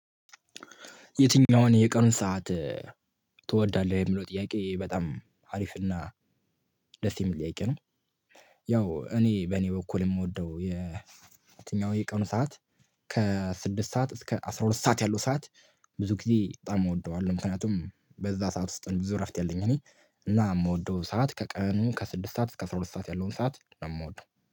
የትኛውን የቀኑን ሰዓት ትወዳለህ የሚለው ጥያቄ በጣም አሪፍና ደስ የሚል ጥያቄ ነው? ያው እኔ በኔ በኩል የምወደው የ የትኛው የቀኑ ሰዓት ከስድስት ሰዓት እስከ አስራ ሁለት ሰዓት ያለው ሰዓት ብዙ ጊዜ በጣም እወደዋለሁ ምክንያቱም በዛ ሰዓት ውስጥ ብዙ እረፍት ያለኝ እኔ እና እምወደው ሰዓት ከቀኑ ከስድስት ሰዓት እስከ አስራ ሁለት ሰዓት ያለውን ሰዓት ነው። የምወደው